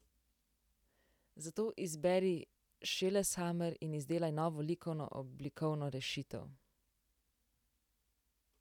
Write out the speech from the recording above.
Zato izberi šeleshamer in izdelaj novo likovno oblikovno rešitev.